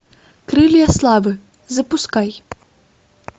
крылья славы запускай